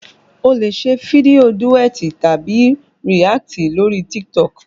O lè ṣe fídíò Duet tàbí React lórí Titok